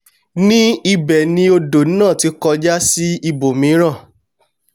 ní ibẹ̀ ni odò náà ti kọjú sí ibòmíràn